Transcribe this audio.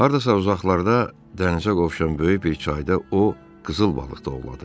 Hardasa uzaqlarda dənizə qovşan böyük bir çayda o qızıl balıq ovladı.